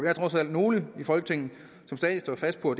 er trods alt nogle i folketinget som stadig står fast på